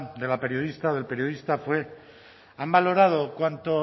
de la periodista o del periodista fue han valorado